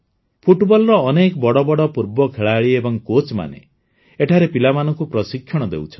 ଫୁଟବଲର ଅନେକ ବଡ଼ ବଡ଼ ପୂର୍ବ ଖେଳାଳି ଏବଂ କୋଚ୍ମାନେ ଏଠାରେ ପିଲାମାନଙ୍କୁ ପ୍ରଶିକ୍ଷଣ ଦେଉଛନ୍ତି